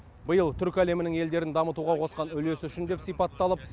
биыл түркі әлемінің елдерін дамытуға қосқан үлесі үшін деп сипатталып